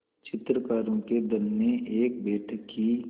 चित्रकारों के दल ने एक बैठक की